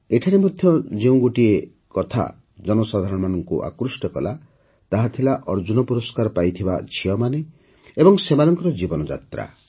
ଏଠାରେ ମଧ୍ୟ ଯେଉଁ ଗୋଟିଏ କଥା ଜନସାଧାରଣଙ୍କୁ ଆକୃଷ୍ଟ କଲା ତାହା ଥିଲା ଅର୍ଜୁନ ପୁରସ୍କାର ପାଇଥିବା ଝିଅମାନେ ଏବଂ ସେମାନଙ୍କ ଜୀବନଯାତ୍ରା